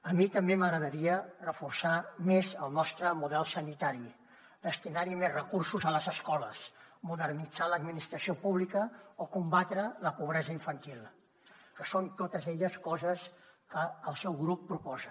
a mi també m’agradaria reforçar més el nostre model sanitari destinar més recursos a les escoles modernitzar l’administració pública o combatre la pobresa infantil que són totes elles coses que el seu grup proposa